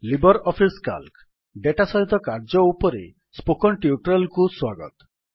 Libre Office Calc data ସହିତ କାର୍ଯ୍ୟ ଉପରେ ସ୍ପୋକେନ୍ ଟ୍ୟୁଟୋରିଆଲ୍ କୁ ସ୍ୱାଗତ